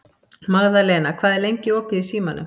Magðalena, hvað er lengi opið í Símanum?